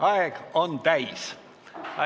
Aeg on täis.